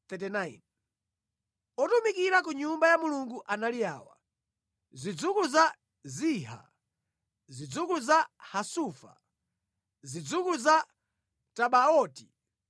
Otumikira ku Nyumba ya Mulungu anali awa: Zidzukulu za Ziha, zidzukulu za Hasufa, zidzukulu za Tabaoti,